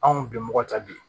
Anw bɛ mɔgɔ ta bi